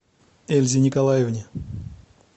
эльзе николаевне